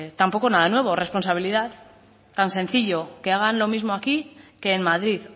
tampoco nada nuevo responsabilidad tan sencillo que hagan lo mismo aquí que en madrid